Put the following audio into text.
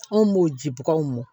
Anw b'o ji baganw mɔ